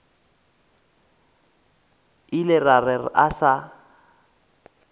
ile a re a sa